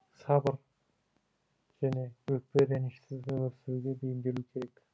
сабыр және өкпе ренішсіз өмір сүруге бейімделу керек